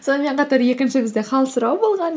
сонымен қатар екінші бізде хал сұрай болған